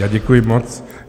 Já děkuji moc.